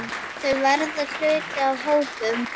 Þau verða hluti af hópnum.